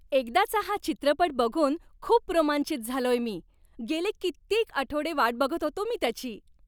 एकदाचा हा चित्रपट बघून खूप रोमांचित झालोय मी! गेले कित्येक आठवडे वाट बघत होतो मी त्याची.